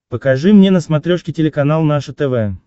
покажи мне на смотрешке телеканал наше тв